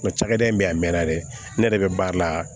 Nga cakɛda in be yan a mɛnna dɛ ne yɛrɛ be baara la